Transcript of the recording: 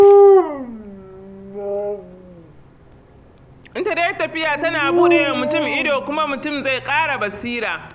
Ita dai tafiya tana buɗewa mutum ido kuma mutum zai ƙara basira.